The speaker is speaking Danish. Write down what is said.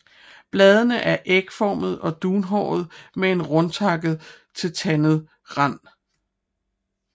Bladene er ægformede og dunhårede med en rundtakket til tandet rand